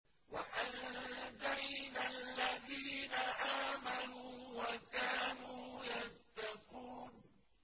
وَأَنجَيْنَا الَّذِينَ آمَنُوا وَكَانُوا يَتَّقُونَ